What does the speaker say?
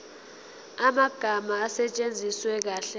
amagama asetshenziswe kahle